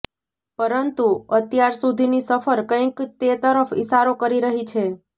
પરંતુ અત્યાર સુધીની સફર કંઇક તે તરફ ઇશારો કરી રહી છે